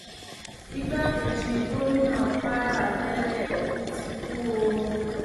igbákejì gómìnà kwara tẹlẹ ti kú o